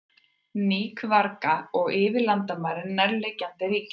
Í Níkaragva og yfir landamæri nærliggjandi ríkja.